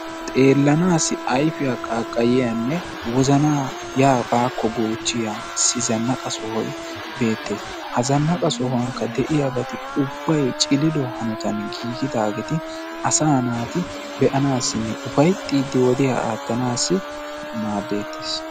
Xeellanaassi ayfiya qaaqqayiyanne wozanaa yaa baakko goochchiya zannaqa sohoyi beettes. Ha zannaqa sohuwankka de"iyabati ubbayi cililuwa hanotan giigidaageeti asaa naati be"anaassinne ufayttiiddi wodiya aattanaassi maaddeettes.